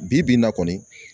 Bi bi in na kɔni